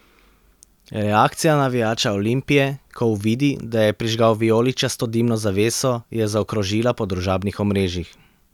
Reakcija navijača Olimpije, ko uvidi, da je prižgal vijoličasto dimno zaveso, je zaokrožila po družabnih omrežjih.